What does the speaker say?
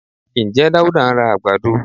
Ǹjẹ́ Dáúdá ń ra àgbàdo?